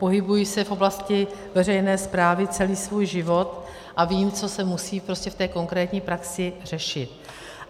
Pohybuji se v oblasti veřejné správy celý svůj život a vím, co se musí prostě v té konkrétní praxi řešit.